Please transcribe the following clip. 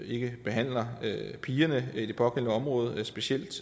ikke behandler pigerne i det pågældende område specielt